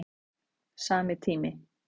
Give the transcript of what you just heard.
Sami tími